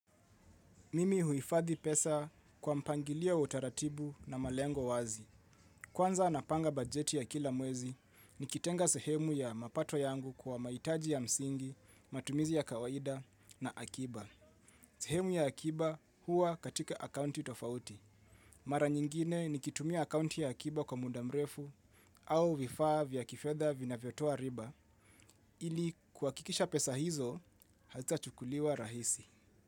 Mimi huhifadhi pesa kwa mpangilio wa utaratibu na malengo wazi. Kwanza napanga bajeti ya kila mwezi, nikitenga sehemu ya mapato yangu kwa mahitaji ya msingi, matumizi ya kawaida na akiba. Sehemu ya akiba huwa katika akaunti tofauti. Mara nyingine nikitumia akaunti ya akiba kwa muda mrefu au vifaa vya kifedha vinavyotoa riba ili kuhakikisha pesa hizo hazitachukuliwa rahisi.